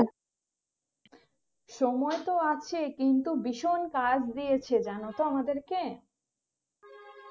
সময় তো আছে কিন্তু ভীষণ কাজ দিয়েছে জানতো আমাদেরকে